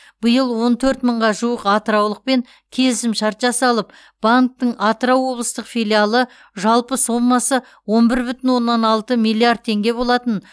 биыл он төрт мыңға жуық атыраулықпен келісімшарт жасалып банктің атырау облыстық филиалы жалпы соммасы он бір бүтін оннан алты миллиард теңге болатын